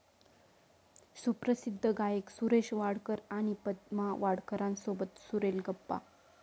सुप्रसिद्ध गायक सुरेश वाडकर आणि पद्मा वाडकरांसोबत सुरेल गप्पा